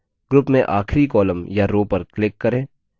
group में आखरी column या row पर click करें